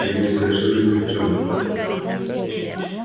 я здесь совершенно ни при чём